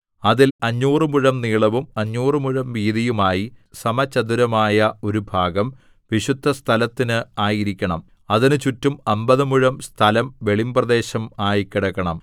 അതിൽ അഞ്ഞൂറ് മുഴം നീളവും അഞ്ഞൂറ് മുഴം വീതിയും ആയി സമചതുരമായ ഒരു ഭാഗം വിശുദ്ധസ്ഥലത്തിന് ആയിരിക്കണം അതിന് ചുറ്റും അമ്പത് മുഴം സ്ഥലം വെളിമ്പ്രദേശം ആയി കിടക്കണം